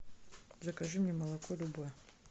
закажи мне молоко любое